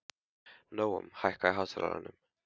Nóam, hækkaðu í hátalaranum.